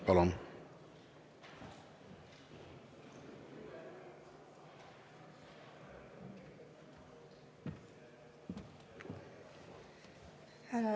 Palun!